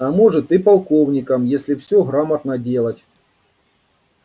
а может и полковником если всё грамотно делать